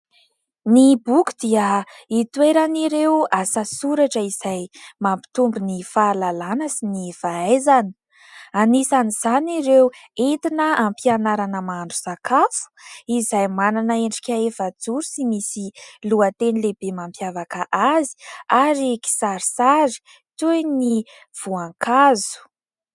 Ny boky dia hitoeran'ireo asa soratra izay mampitombo ny fahalalàna sy ny fahaizana. Anisan'izany ireo entina ampianarana mahandro sakafo izay manana endrika efajoro sy misy lohateny lehibe mampiavaka azy ary kisarisary toy ny voankazo.